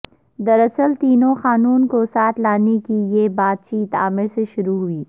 دراصل تینوں خانوں کو ساتھ لانے کی یہ بات چیت عامر سے شروع ہوئی